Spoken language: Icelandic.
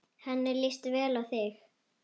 Henni líst vel á þig.